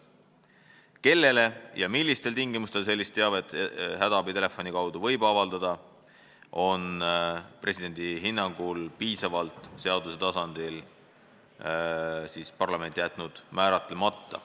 Kellele ja millistel tingimustel sellist teavet hädaabitelefoni kaudu võib avaldada, on parlament presidendi hinnangul seaduse tasandil jätnud piisavalt määratlemata.